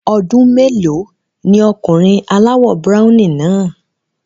Ọmọ ọdún mélòó ni ọkùnrin aláwọ̀ browny náà?